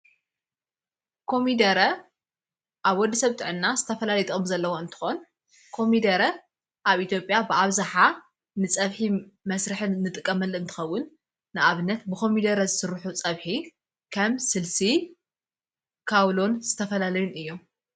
ኮሚደረ ኣብ ወዲ ሰብጥዐና ዝተፈላለየ ጥቅሚ ዘለዉ እንተኾን ኮሚደረ ኣብ ኢትዮጴያ ብዓብዛሓ ንጸብሒ መሥርሕን ንጥቀመል እንቲኸውን ንኣብነት ብኾሚደረ ዝሥርኁ ጸብሒ ከም ስልሲ ካውሎን ዝተፈላለዩን እዮም።